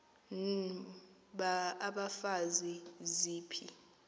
n abafazi ziphi